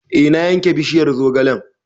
E na yanke bishiyar zogalen